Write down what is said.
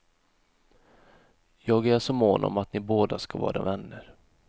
Jag är så mån om att ni båda ska vara vänner.